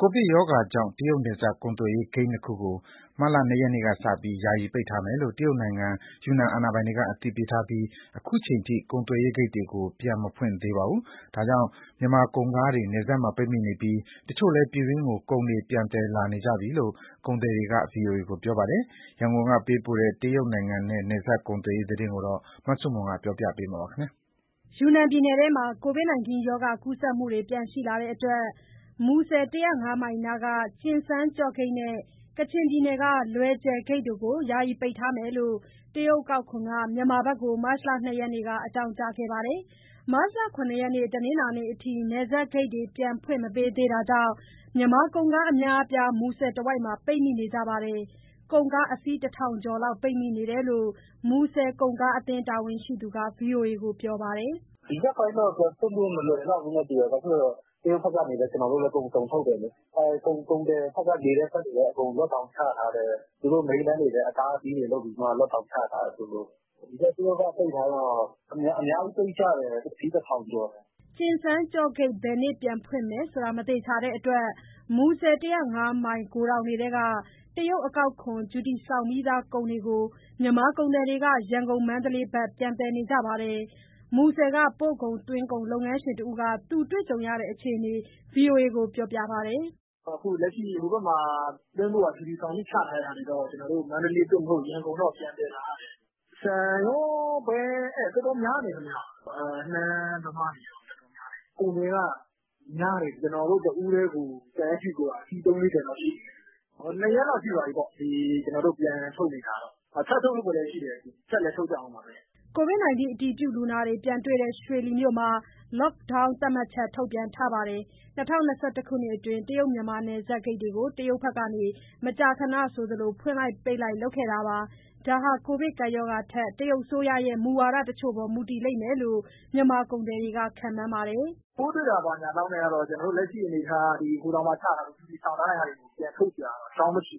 ကိုဗစ်ရောဂါကြောင့် တရုတ်နယ်စပ်ကုန်သွယ်ရေးဂိတ် ၂ ခုကို မတ်လ ၂ ရက် နေ့ ကစပြီး ယာယီပိတ်ထားမယ်လို့ တရုတ်နိုင်ငံ ယူနန်အာဏာပိုင်တွေ အသိပေးထားပြီး ခုချိန်ထိ ကုန်သွယ်ရေးဂိတ်တွေကို ပြန်မဖွင့်သေးပါဘူး။ ဒါကြောင့် မြန်မာကုန် ကားတွေ နယ်စပ်မှာပိတ်မိနေပြီး တချို့လည်း ပြည်တွင်းကို ကုန်တွေပြန်သယ် လာနေကြပြီလို့ ကုန်သည်တွေက ဗွီအိုအေကို ပြောပါတယ်။ ရန်ကုန်ကပေးပို့တဲ့ တရုတ်နိုင်ငံနဲ့ နယ်စပ်ကုန်သွယ်ရေးသတင်းကို မဆုမွန်က တင်ပြပေးထားပါတယ်။ ယူနန်ပြည်နယ်ထဲမှာ ကိုဗစ်ရောဂါ ကူးစက်မှုတွေ ပြန်ရှိလာတဲ့အတွက် မူဆယ် ၁၀၅ မိုင်နားက ကျင်စန်းကျော့ဂိတ်နဲ့ ကချင်ပြည်နယ်က လွယ်ဂျယ်ဂိတ်တို့ကို ယာယီပိတ်ထားမယ်လို့ တရုတ်အကောက်ခွန်က မြန်မာဘက်ကို မတ်လ ၂ ရက်က အကြောင်းကြားခဲ့ပါတယ်။ မတ်လ ၇ ရက် တနင်္လာနေ့အထိ နယ်စပ်ဂိတ်တွေ ပြန်ဖွင့် မပေးသေးတာကြောင့် မြန်မာကုန်ကား အများအပြား မူဆယ်တဝိုက်မှာ ပိတ်မိနေကြပါတယ်။ ကုန်ကားအစီး ၁ ထောင်ကျော်လောက် ပိတ်မိနေတယ်လို့ မူဆယ်ကုန်ကားအသင်း တာဝန်ရှိသူက ဗွီအိုအေကို ပြောပါတယ်။ “ဒီရက်ပိုင်းတော့ ပြန်ဖွင့်ဖို့ မလွယ်လောက်ဘူးထင်တယ်။ ဘာလို့လဲဆိုတော့ တရုတ်ဘက်ကနေလည်း ကျနော်တို့ ကုန်စုံထုတ်တယ်လေ၊ ကုန်သည်တွေ နေတဲ့ဘက်တွေလည်း အကုန် လော့ဒေါင်းချထားတယ်။ သူတို့ မိန်းလမ်းတွေလည်း အတားအဆီးတွေလုပ်ပြီးမှ လော့ဒေါင်းချထားတယ်။ ဒီဘက် တရုတ်ကပိတ်ထားတော့ အများကြီးပိတ်ကြတယ်။ အစီး ၁,၀၀၀ ကျော်တယ်။” ကျင်စန်းကျော့ဂိတ် ဘယ်နေ့ပြန်ဖွင့်မယ်ဆိုတာ မသေချာတဲ့အတွက် မူဆယ် ၁၀၅ မိုင် ဂိုထောင်တွေထဲက တရုတ်အကောက်ခွန် ဂျူတီဆောင်ပြီးသား ကုန် တွေကို မြန်မာကုန်သည်တွေက ရန်ကုန် မန္တလေးဘက် ပြန်သယ်နေကြပါတယ်။ မူဆယ်က ပို့ကုန်၊ သွင်းကုန်လုပ်ငန်းတဦးက သူတွေ့ကြုံရတဲ့ အခြေအနေကို ဗွီအိုအေ ကို ပြောပါတယ်။ “အခုလက်ရှိ ဟိုဘက်မှာသွင်းဖို့ဟာ ဂျူတီဆောင်ပြီးချထားတဲ့ဟာတွေတော့ ကျနော်တို့ မန္တလေး သို့မဟုတ် ရန်ကုန်တော့ ပြန်သယ်လာရတယ်။ ဆန်ရော၊ ပဲရော တော်တော်များတယ်။ နှမ်းသမားတွေရော တော်တော်များတယ်။ ကုန်သည်ကများတယ်။ ကျနော်တို့ တဦးတည်းကို ဆန်ချည်းကိုက အစီးသုံးလေးဆယ်ရှိတယ်။ နှစ်ရက်လောက်ရှိသွားပြီ။ ကျနော်တို့ ပြန်ထုတ်နေတာ၊ ထပ်ထုတ်ဖို့လည်းရှိတယ်။ ထပ်လည်း ထုတ်ကြဦးမှာပဲ။” ကိုဗစ်အတည်ပြုလူနာတွေ ပြန်တေ့ွတဲ့ ရွှေလီမြို့မှာ Lockdown သတ်မှတ်ချက် ထုတ်ပြန်ထားပါတယ်။ ၂၀၂၁ ခုနှစ်အတွင်း တရုတ် မြန်မာနယ်စပ်ဂိတ်တွေကို တရုတ်ဘက်က မကြာခဏဆိုသလို ပိတ်လိုက်ဖွင့်လိုက် လုပ်ခဲ့ပါတယ်။ ဒါဟာ ကိုဗစ်ကပ်ရောဂါထက် တရုတ်အစိုးရရဲ့ မူဝါဒတချို့အပေါ်ပဲ မူတည်လိမ့်မယ်လို့ မြန်မာကုန်သည်တွေက ခန့်မှန်းပါတယ်။ “ပိုးတွေ့တာ ဘာညာလောက်နဲ့တော့ ကျနော်တို့လက်ရှိအနေအထားက ဂိုထောင် မှာချပြီးသား ဂျူတီဆောင်ပြီးသားတွေ ပြန်ထုတ်စရာတော့ အကြောင်းမရှိ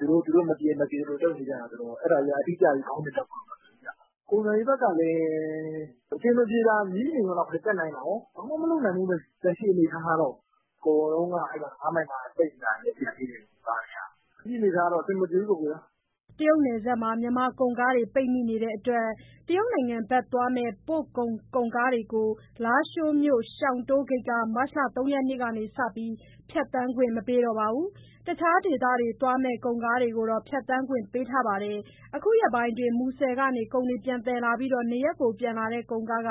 ဘူးဗျ။ အဆင်မပြေရင် မပြေသလိုလုပ်နေတာဆိုတော့ အတိအကျ ခေါင်းစဉ်တပ်ဖို့က မလွယ်ဘူး။ ကုန်သွယ်ရေးဘက်ကလည်း အဆင်မပြေတာ ငြီးနေရုံလောက်ပဲ တတ်နိုင်တာကော၊ ဘာမှမလုပ်နိုင်ဘူးပဲ လက်ရှိအနေအထားကတော့။ အကုန်လုံးက မူဆယ် ၅ မိုင်မှာ ပိတ်နေတာတွေ ကျန်သေးတယ်။ လက်ရှိက အဆင်မပြေဘူးပေါ့။” တရုတ်နယ်စပ်မှာ မြန်ကုန်ကားတွေ ပိတ်မိနေတဲ့အတွက် တရုတ်နိုင်ငံဘက်သွားမယ့် ပို့ကုန်ကုန်ကားတွေကို လားရှိုးမြို့ရှောင်တိုးဂိတ်က မတ်လ ၃ ရက်ကစပြီး ဖြတ်သန်းခွင့် မပေးတော့ပါဘူး။ တခြားဒေသတွေ သွားမယ့် ကုန်ကားတွေကိုတော့ ဖြတ်သန်းခွင့် ပေးထားပါတယ်။ အခုရက်ပိုင်းအတွင်း မူဆယ်ကနေ ကုန်တွေပြန်သယ်ပြီး နေရပ်ပြန်လာတဲ့ ကုန်ကားက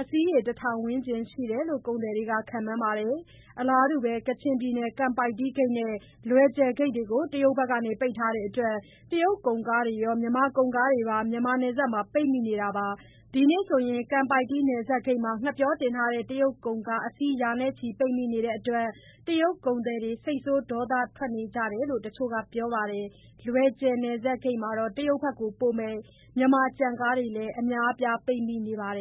အစီးရေ ၁,၀၀၀ ဝန်းကျင်ရှိတယ်လို့လည်း ကုန်သည်တွေက ခန့်မှန်းပါတယ်။ အလားတူပဲ ကချင်ပြည်နယ်က ကန်ပိုက်တီးဂိတ်နဲ့ လွယ်ဂျယ်ဂိတ်ကိုလည်း တရုတ်ဘက်က ပိတ်ထားတဲ့အတွက် တရုတ်ကုန်ကားတွေရော မြန်မာကုန်ကားတွေပါ မြန်မာနယ်စပ်မှာ ပိတ်မိနေတာပါ။ ဒီနေ့ဆိုရင် ကန်ပိုက်တီးနယ်စပ်ဂိတ်မှာ ငှက်ပျောတင်ထားတဲ့ တရုတ်ကုန်ကား အစီးရေ ရာချီ ပိတ်မိနေတဲ့အတွက် တရုတ်ကုန်သည်တွေ စိတ်ဆိုးဒေါသထွက်နေကြတယ်လို့ တချို့ကပြောပါတယ်။ လွယ်ဂျယ်နယ်စပ်ဂိတ်မှာတော့ တရုတ်ဘက်ကို ပို့မယ့် မြန်မာကြံကားတွေလည်း အများအပြားပိတ်မိနေပါတယ်